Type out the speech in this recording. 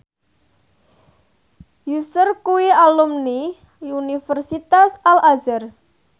Usher kuwi alumni Universitas Al Azhar